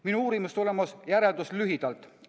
Minu uurimustulemuse järeldus lühidalt.